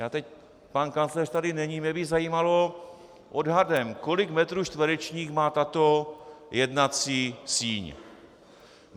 Já teď - pan kancléř tady není - mě by zajímalo odhadem, kolik metrů čtverečních má tato jednací síň.